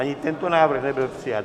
Ani tento návrh nebyl přijat.